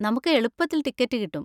നമുക്ക് എളുപ്പത്തിൽ ടിക്കറ്റ് കിട്ടും.